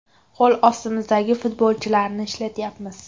Qo‘l ostimizdagi futbolchilarni ishlatyapmiz.